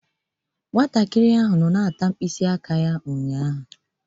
Nwata a na-eri mkpịsị aka ya ụnyaahụ